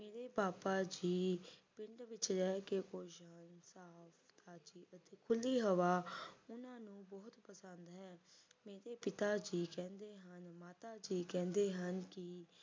ਮੇਰੇ ਬਾਬਾ ਜੀ ਪਿੰਡ ਵਿੱਚ ਰਹਿ ਕੇ ਖੁਸ਼ ਹਨ ਉਨ੍ਹਾਂ ਨੂੰ ਖੁੱਲ੍ਹੀ ਹਵਾ ਉਨ੍ਹਾਂ ਨੂੰ ਬਹੁਤ ਪਸੰਦ ਹੈ ਮੇਰੇ ਪਿਤਾ ਜੀ ਕਹਿੰਦੇ ਹਨ ਮੇਰੇ ਮਾਤਾ ਜੀ ਕਹਿੰਦੇ ਹਨ ਕਿ